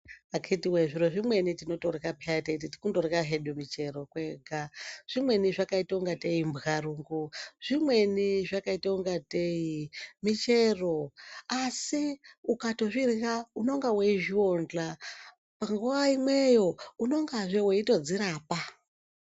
Akatiwe zviro zvimweni tinotorya peya teiti kundorya hedu michero kwega zvimweni zvakaita ngatei mbwarungo, zvimweni zvakaita ungatei michero asi ukatozvirya unenge weizviwodhla nguwaimweyo unongazve weitodzirapa.